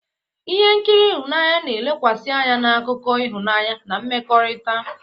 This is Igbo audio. Ihe nkiri ịhụnanya na-elekwasị anya na akụkọ ịhụnanya na mmekọrịta.